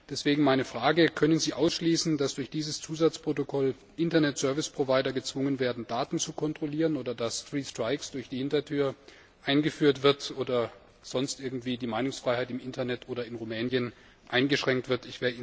Deswegen meine Frage Können Sie ausschließen, dass durch dieses Zusatzprotokoll Internetserviceprovider gezwungen werden, Daten zu kontrollieren, oder dass Three strikes durch die Hintertür eingeführt wird, oder dass sonst irgendwie die Meinungsfreiheit im Internet oder in Rumänien eingeschränkt wird?